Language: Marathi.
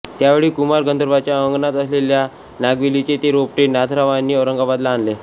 त्यावेळी कुमार गंधर्वांच्या अंगणात असलेल्या नागवेलीचे ते रोपटे नाथरावांनी औरंगाबादला आणले